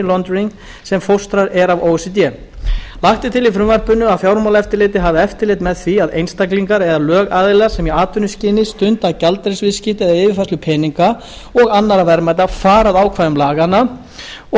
e c d lagt er til í frumvarpinu að fjármálaeftirlitið hafi eftirlit með því að einstaklingar eða lögaðilar sem í atvinnuskyni stunda gjaldeyrisviðskipti eða yfirfærslu peninga og annarra verðmæta fari að ákvæðum laganna og